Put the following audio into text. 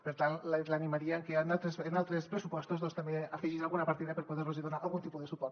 per tant l’animaria a que en altres pressupostos doncs també afegís alguna partida per poder los donar algun tipus de suport